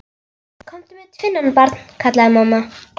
Komdu með tvinnann, barn, kallaði mamma.